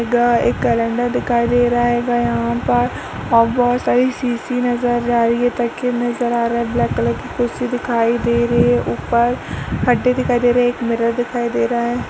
इधर एक केलेंडर दिखाई दे रहा हेगा। यहाँ पर और बहोत सारी सीसी नजर आ रही है। तकिये नज़र आ रहे है। ब्लेक कलर की कुर्सी दिखाई दे रही है। ऊपर हड्डी दिखाई दे रही है। एक मिरर दिखाई दे रहा है।